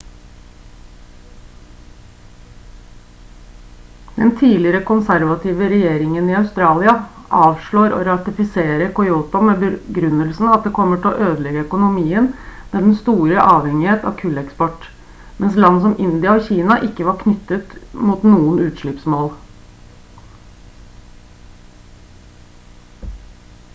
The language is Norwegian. den tidligere konservative regjeringen i australia avslår å ratifisere kyoto med begrunnelsen at det kommer til å ødelegge økonomien med dens store avhengighet av kulleksport mens land som india og kina ikke var knyttet mot noen utslippsmål